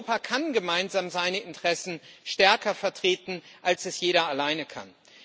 Europa kann gemeinsam seine Interessen stärker vertreten, als es jeder alleine kann.